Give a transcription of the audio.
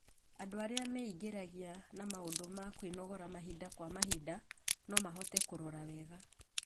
Andũ arĩa meingĩragia na maũndũ wa kwĩnogora mahinda kwa mahinda, no mahote kũrora wega